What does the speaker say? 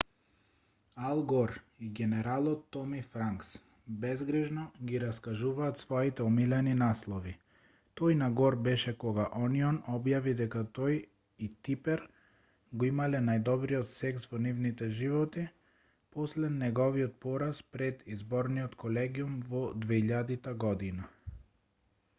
ал гор и генералот томи франкс безгрижно ги раскажуваат своите омилени наслови тој на гор беше кога онион објави дека тој и типер го имале најдобриот секс во нивните животи после неговиот пораз пред изборниот колегиум во 2000 година